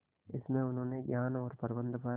इसमें उन्होंने ज्ञान और प्रबंधन पर